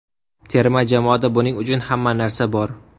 Terma jamoada buning uchun hamma narsa bor.